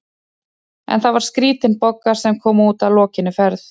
En það var skrítin Bogga sem kom út að lokinni ferð.